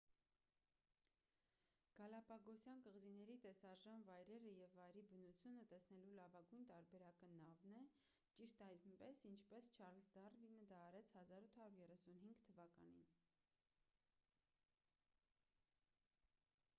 գալապագոսյան կղզիների տեսարժան վայրերը և վայրի բնությունը տեսնելու լավագույն տարբերակը նավն է ճիշտ այնպես ինչպես չարլզ դարվինը դա արեց 1835 թվականին